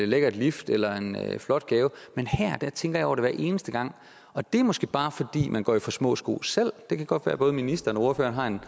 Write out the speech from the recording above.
lækkert lift eller en flot gave men her tænker jeg over det hver eneste gang og det er måske bare fordi man går i for små sko selv det kan godt være at både ministeren og ordføreren har en